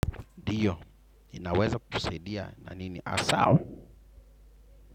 Ndiyo ninaweza kusaidia na nini hasa.